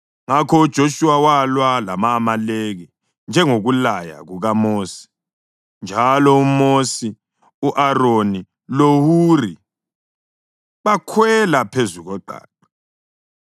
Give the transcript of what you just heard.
Ngakho uJoshuwa walwa lama-Amaleki njengokulaya kukaMosi, njalo uMosi, u-Aroni loHuri bakhwela phezu koqaqa.